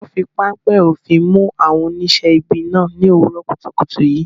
Wọn fi páńpẹ́ òfin mú àwọn oníṣẹ́ ibi náà ní òwúrọ̀ kùtùkùtù yìí.